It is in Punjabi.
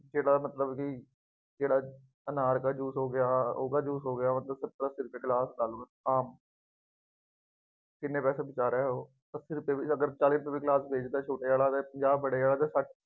ਜਿਹੜਾ ਮਤਲਬ ਬਈ ਕਿਹੜਾ ਅਨਾਰ ਦਾ ਜੂਸ ਹੋ ਗਿਆ, ਉਹਦਾ ਜੂਸ ਹੋ ਗਿਆ ਆਪ ਕਿੰਨੇ ਪੈਸੇ ਬਚਾ ਰਿਹਾ ਉਹ, ਅੱਸੀ ਰੁਪਏ ਵੀ ਅਗਰ ਚਾਲੀ ਰੁਪਏ ਵੀ ਗਿਲਾਸ ਵੇਚਦਾ ਛੋਟੇ ਵਾਲਾ, ਪੰਜਾਹ ਬੜੇ ਵਾਲੇ